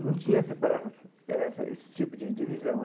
não tinha essa para eh essa esse tipo de de visão.